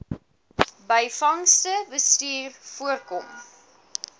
byvangste bestuur voorkom